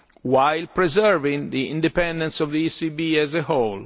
while preserving the independence of the ECB as a whole.